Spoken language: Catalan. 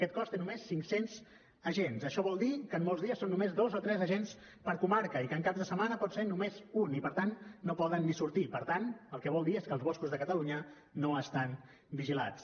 aquest cos té només cinccents agents això vol dir que molts dies són només dos o tres agents per comarca i que en caps de setmana pot ser només un i per tant no poden ni sortir i per tant el que vol dir és que els boscos de catalunya no estan vigilats